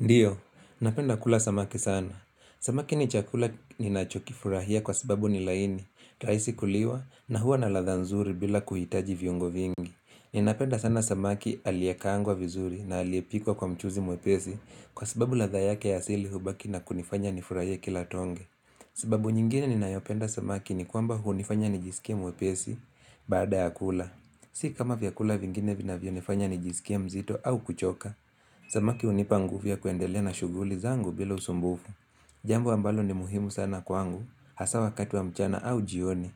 Ndiyo, napenda kula samaki sana. Samaki ni chakula ninachokifurahia kwa sababu ni laini. Raisi kuliwa na huwa na ladha nzuri bila kuhitaji viungo vingi. Ninapenda sana samaki aliyekaangwa vizuri na aliepikwa kwa mchuzi mwepesi kwa sababu ladha yake ya asili hubaki na kunifanya nifurahie kila tonge. Sababu nyingine ninayopenda samaki ni kwamba hunifanya nijisikie mwepesi baada ya kula. Si kama vyakula vingine vinavyonifanya nijisikie mzito au kuchoka. Samaki hunipa ngufu ya kuendelea na shughuli zangu bila usumbufu Jambo ambalo ni muhimu sana kwangu Hasa wakati wa mchana au jioni